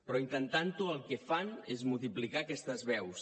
però intentant ho el que fan és multiplicar aquestes veus